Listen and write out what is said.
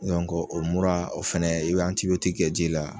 o mura o fɛnɛ i be kɛ ji la